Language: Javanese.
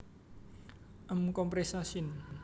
M compressa syn